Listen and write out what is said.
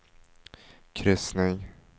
kryssning